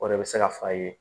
O de bɛ se ka fa ye